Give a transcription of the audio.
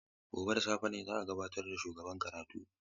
Gobe ​​da safe ne za a gabatar da shugaban karatun.